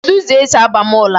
Kedụ ụzọ esi aba mall a?